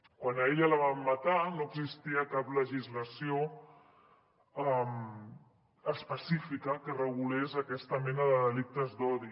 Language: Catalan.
quan a ella la vam matar no existia cap legislació específica que regulés aquesta mena de delictes d’odi